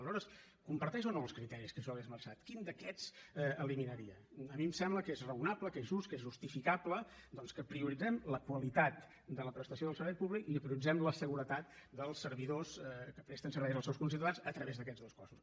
aleshores comparteix o no els criteris que jo li he esmentat quin d’aquests eliminaria a mi em sembla que és rao nable que és just que és justificable que prioritzem la qualitat de la prestació del servei públic i que prioritzem la seguretat dels servidors que presten serveis als seus conciutadans a través d’aquests dos cossos